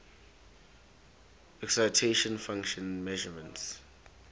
excitation function measurements